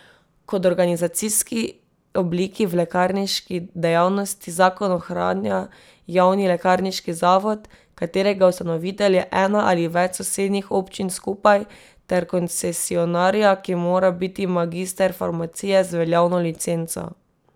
Kot organizacijski obliki v lekarniški dejavnosti zakon ohranja javni lekarniški zavod, katerega ustanovitelj je ena ali več sosednjih občin skupaj, ter koncesionarja, ki mora biti magister farmacije z veljavno licenco.